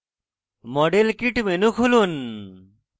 model kit menu খুলুন